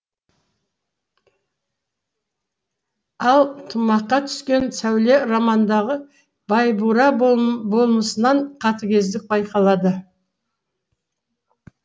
ал тұмаққа түскен сәуле романындағы байбура болмысынан қатыгездік байқалады